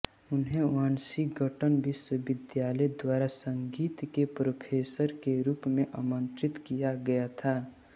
उन्हें वाशिंगटन विश्वविद्यालय द्वारा संगीत के प्रोफेसर के रूप में आमंत्रित किया गया था